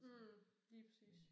Mh lige præcis